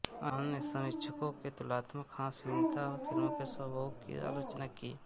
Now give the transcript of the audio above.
अन्य समीक्षकों ने तुलनात्मक हास्यहीनता और फ़िल्म के स्वभोग की आलोचना की